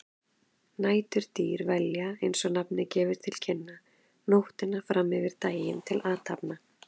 Næturdýr velja, eins og nafnið gefur til kynna, nóttina fram yfir daginn til athafna.